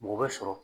Mɔgɔ bɛ sɔrɔ